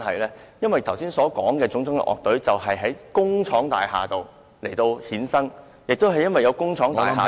我剛才提及的樂隊都是在工廠大廈衍生的，亦因為有工廠大廈......